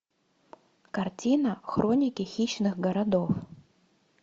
картина хроники хищных городов